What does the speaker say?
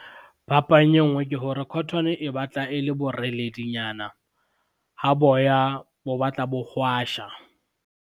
Phapang e ngwe ke hore cotton e batla e le boreledinyana, ha boya bo batla bo hwasha.